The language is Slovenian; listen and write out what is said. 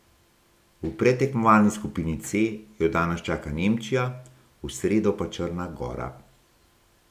V predtekmovalni skupini C jo danes čaka Nemčija, v sredo pa Črna gora.